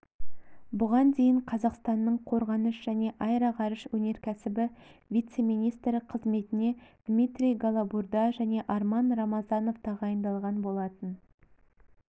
бұған дейін қазақстанның қорғаныс және аэроғарыш өнеркәсібі вице-министрі қызметіне дмитрий голобурда және арман рамазанов тағайындалған болатын